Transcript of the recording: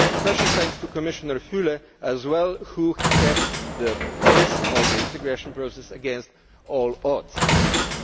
Special thanks to Commissioner Füle as well, who kept up the pace of the integration process against all odds.